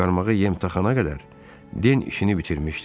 Harvi qarmağa yem taxana qədər Den işini bitirmişdi.